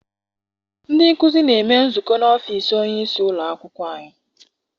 Ndị nkụzi na-eme nzukọ n'ọfịịsi onyeisi ụlọakwụkwọ anyị.